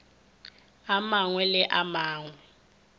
a mangwe le a mangwe